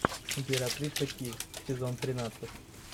императрица ки сезон тринадцать